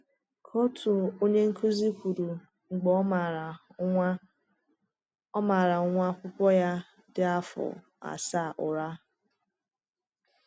Ka òtù onye nkụzi kwuru mgbe ọ màrà nwa ọ màrà nwa akwụkwọ ya dị afọ asaa ụra.